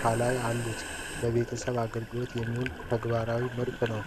ከላይ አሉት። ለቤተሰብ አገልግሎት የሚውል ተግባራዊ ምርት ነው።